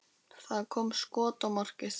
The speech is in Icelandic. Það kom skot á markið.